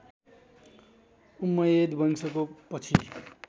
उम्मयद वंशको पछि